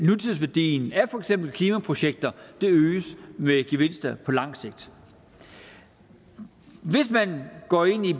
nutidsværdien af for eksempel klimaprojekter øges med gevinster på langt sigt hvis man går ind i